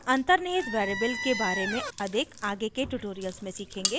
हम अन्तर्निहित variables के बारे में अधिक आगे के ट्यूटोरियल्स में सीखेंगे